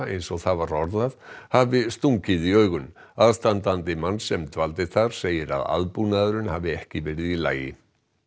eins og það var orðað hafi stungið í augun aðstandandi manns sem dvaldi þar segir að aðbúnaðurinn hafi ekki verið í lagi